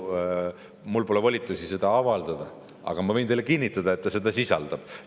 Mul pole volitusi seda otsust avaldada, aga ma võin teile kinnitada, et seda see sisaldab.